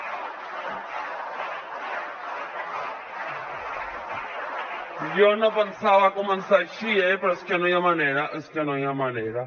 jo no pensava començar així eh però és que no hi ha manera és que no hi ha manera